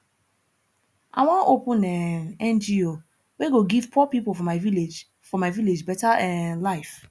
i wan open um ngo wey go give poor pipo for my village for my village better um life